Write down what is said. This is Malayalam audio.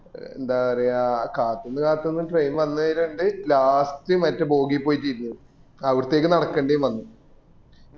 എന്താപറയ കാത്തന്നു കാത്ത്നന് train വന്നേരിണ്ട് last മറ്റെ bogy പോയിട്ട് ഇരുന്ന് അവിടത്തേക്ക് നടക്കേണ്ടി വന്ന്